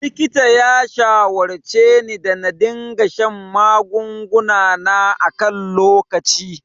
Likita ya shawarceni da na dinga shan magunguna na a kan lokaci.